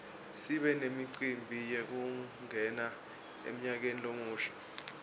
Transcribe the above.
sibe nemicimbi yekungena emnyakeni lomusha